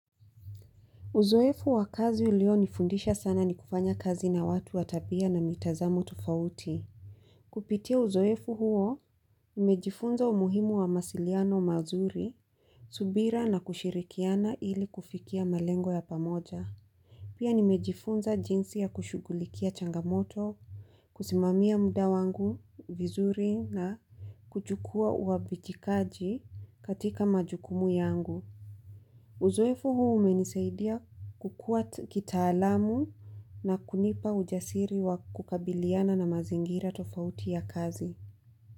Uzoefu wakazi ulionifundisha sana ni kufanya kazi na watu wa tabia na mitazamo tofauti. Kupitia uzoefu huo, nimejifunza umuhimu wa mawssiliano mazuri, subira na kushirikiana ili kufikia malengo ya pamoja. Pia nimejifunza jinsi ya kushugulikia changamoto, kusimamia muda wangu vizuri na kuchukua uabichikaji katika majukumu yangu. Uzoefu huu umenisaidia kukua kitaalamu na kunipa ujasiri wa kukabiliana na mazingira tofauti ya kazi.